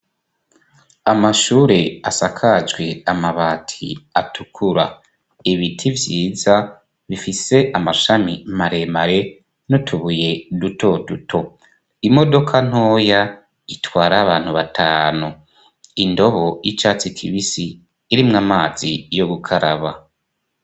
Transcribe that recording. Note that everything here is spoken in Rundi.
Amashure asakajwe amabati atukura ebiti vyiza bifise amashami maremare nutubuye duto duto imodoka ntoya itwara abantu batanu indobo y'icatsi kibisi irimwo amazi yo gukaraba a.